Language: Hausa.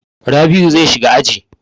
Rabl'u zai shiga aji.